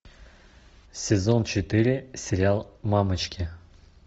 сезон четыре сериал мамочки